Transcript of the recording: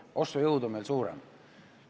Ostujõud on meil suurem.